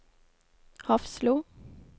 Hafslo